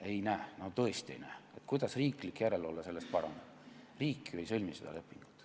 Ei näe, no tõesti ei näe, kuidas riiklik järelevalve sellest paraneb, riik ju ei sõlmi seda lepingut.